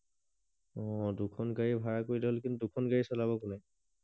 অ দুখন গাড়ী ভাৰা কৰিলেই হল কিন্তু দুখন গাড়ী চলাব কোনে